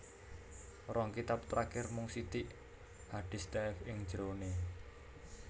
Rong kitab terakhir mung sithik hadis dhaif ing jerone